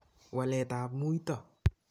Walet ap muito